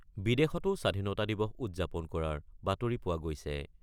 বিদেশতো স্বাধীনতা দিৱস উদযাপন কৰাৰ বাতৰি পোৱা গৈছে।